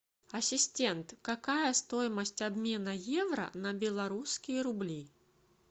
ассистент какая стоимость обмена евро на белорусские рубли